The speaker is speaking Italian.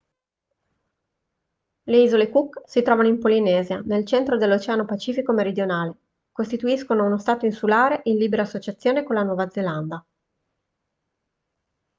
le isole cook si trovano in polinesia nel centro dell'oceano pacifico meridionale costituiscono uno stato insulare in libera associazione con la nuova zelanda